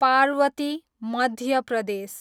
Parvati, Madhya Pradesh